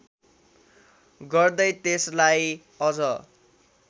गर्दै त्यसलाई अझ